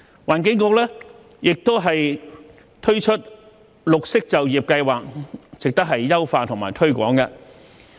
環境局亦推出綠色就業計劃，值得優化和推廣。